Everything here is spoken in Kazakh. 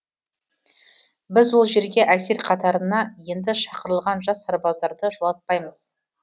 біз ол жерге әскер қатарына енді шақырылған жас сарбаздарды жолатпаймыз